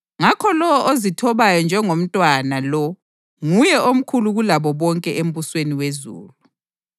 Ngakho lowo ozithobayo njengomntwana lo nguye omkhulu kulabo bonke embusweni wezulu.